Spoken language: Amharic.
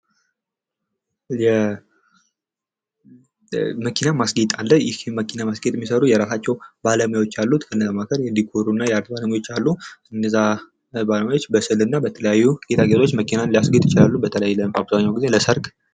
የመኪና ማስጌጥ አለ ይህ የመኪና ማስጌጥ የሚሰሩ የራሳቸው ባለሙያዎች አሉ። ከነዛ መካከል የዲኮርና የአርት ባለሙያዎች አሉ። እነዛ ባለሙያዎችበስዕልና በተለያዩ ጌጣጌጦች መኪናን ሊያስጌጡ ይችላሉ። በተለይ አብዛኛው ጊዜ ለሰርግ።